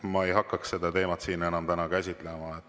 Ma ei hakkaks seda teemat siin täna enam käsitlema.